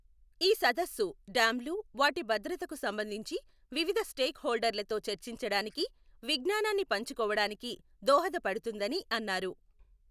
ఈ సదస్సు డ్యామ్లు, వాటి భద్రతకు సంబంధించి వివిధ స్టేక్ హోల్డర్లతొ చర్చించడానికి, విజ్ఞానాన్ని పంచుకోవడానికి దోహదపడుతుందని అన్నారు.